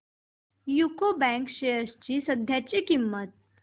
UCO bank shares ची सध्याची किंमत